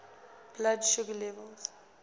blood sugar level